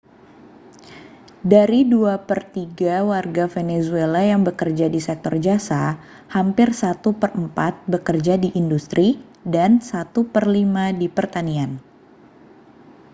dari dua per tiga warga venezuela yang bekerja di sektor jasa hampir satu per empat bekerja di industri dan satu per lima di pertanian